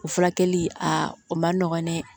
O furakɛli a o man nɔgɔn dɛ